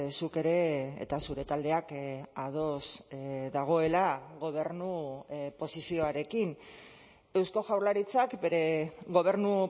zuk ere eta zure taldeak ados dagoela gobernu posizioarekin eusko jaurlaritzak bere gobernu